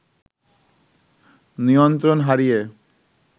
নিয়ন্ত্রণ হারিয়ে